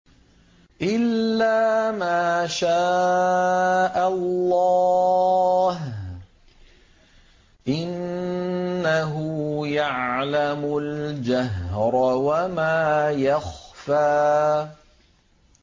إِلَّا مَا شَاءَ اللَّهُ ۚ إِنَّهُ يَعْلَمُ الْجَهْرَ وَمَا يَخْفَىٰ